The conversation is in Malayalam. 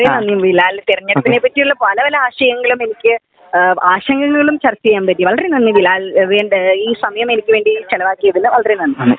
വളരെ നന്ദി ബിലാൽ .തിരഞ്ഞെടുപ്പിനെ പറ്റിയുള്ള പല പല ആശയങ്ങളും എനിക്ക് ആശങ്കകളും ചർച്ച ചെയ്യാൻ പറ്റി വളരെ നന്ദി ബിലാൽ പറ്റി ഈ സമയം എനിക്കു വേണ്ടി ചെലവാക്കിയതിന് വളരെ നന്ദി